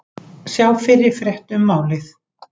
Sjá fyrri frétt um málið